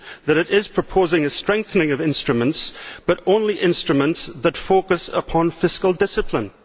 It is proposing a strengthening of instruments, but only instruments that focus upon fiscal discipline.